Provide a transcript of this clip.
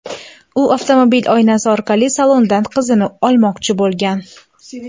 U avtomobil oynasi orqali salondan qizini olmoqchi bo‘lgan.